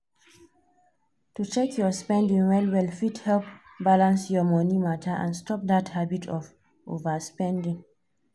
to check your spending well well fit help balance your money matter and stop that habit of overspending.